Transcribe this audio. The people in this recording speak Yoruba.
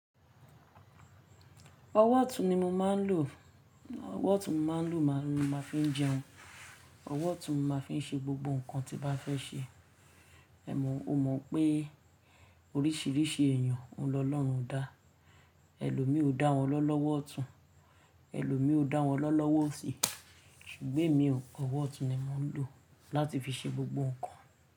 Ọwọ́ ọ̀tún ni mo máa ń lò, ọwọ́ ọ̀tún mo máa ń lò màá fi ń jẹun, ọwọ́ ọ̀tún màá fi ń ṣe gbogbo nǹkan tí màá fẹ́ ṣe. Ẹ̀mọ̀, o mọ̀ pé oríṣiríṣi èèyàn ń lọ lọ́run dá, ẹlòmíì ò dá wọn lọ́ lọ́wọ́ ọ̀tún, ẹlòmíì ò dá wọn lọ́ lọ́wọ́ òsì, ṣùgbọ́n èmi ọwọ́ ọ̀tún ni mo ń lò láti fi ṣe gbogbo nǹkan.